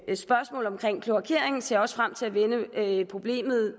spørgsmål om kloakeringen ser jeg også frem til at vende det